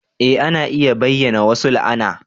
Eh ana iya bayyana wasu la'ana